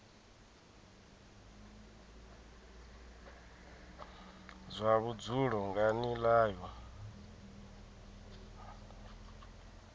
zwa vhudzulo nga nila yo